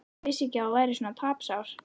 Ég vissi ekki að þú værir svona tapsár.